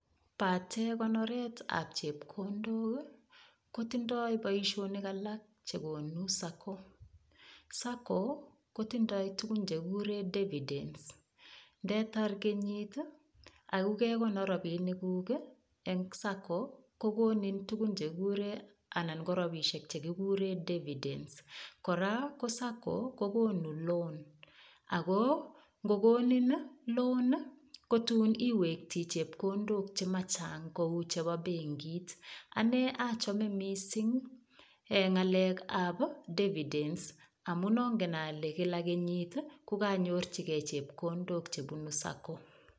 Pate konoretab chepkondok kotindoi boishonik alak chekonu Sacco Sacco kotindoi tukun chekikure dividends ndetar kenyit akokekonor robinik kuk eng' Sacco kokonin tukun chekikure anan ko robishek chekikure dividends kora ko Sacco kokonu loan ako ngokonin loan kotun iwekti chepkondok chemachang' kou chebo benkit ane achome mising' ng'alekab dividends amun ongen ale kila kenyit kukanyorchigei chepkondok chebuni sacco